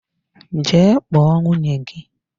Jee kpọọ nwunye gị!